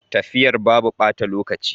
Tafiyar babu bata lokaci.